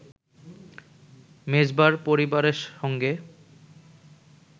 মেজবাহর পরিবারের সঙ্গে